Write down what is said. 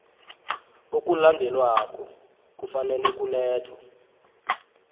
okulandelako kufanele kulethwe